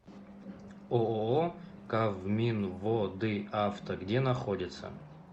ооо кавминводыавто где находится